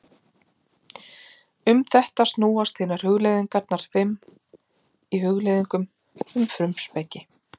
Um þetta snúast hinar hugleiðingarnar fimm í Hugleiðingum um frumspeki.